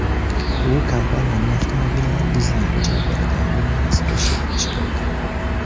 U kompaniyaning avtomobillar dizayniga javob beradigan bo‘linmasida ishlab chiqildi.